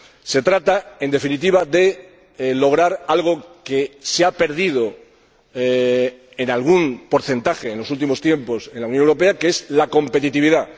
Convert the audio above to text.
Se trata, en definitiva, de lograr algo que se ha perdido en algún porcentaje en los últimos tiempos en la Unión Europea, que es la competitividad.